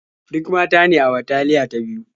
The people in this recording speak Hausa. Duk mata ne a bataliya ta biyu.